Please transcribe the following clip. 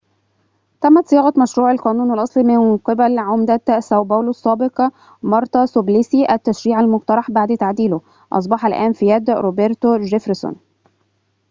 تمت صياغة مشروع القانون الأصلي من قبل عمدة ساو باولو السابق مارتا سوبليسي التشريع المقترح بعد تعديله أصبح الآن في يد روبرتو جيفرسون